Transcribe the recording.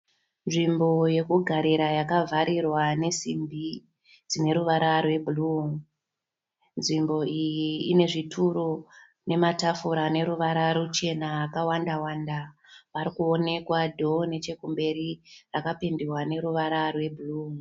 Nzvimbo yekugarira yakavharirwa nesimbi dzine ruvara rwebhuruu. Nzvimbo iyi ine zvituru nematafura ane ruvara ruchena akawanda-wanda. Pari kuonekwa dhoo nechekumberi rakapendiwa neruvara rwebhuruu.